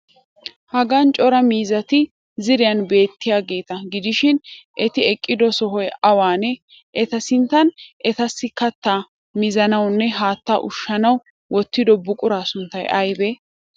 Hagan cora miizzati ziiriyan beettiyageeta gidishi eti eqqido soho awanee? Eta sinttan etassi kattaa mizanawunne haattaa ushshanawu wottido buquraa sunttay aybee?